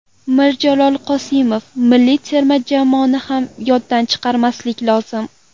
Mirjalol Qosimov: Milliy terma jamoani ham yoddan chiqarmaslik lozim.